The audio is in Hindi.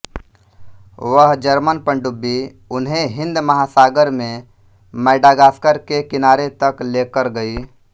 वह जर्मन पनडुब्बी उन्हें हिन्द महासागर में मैडागास्कर के किनारे तक लेकर गयी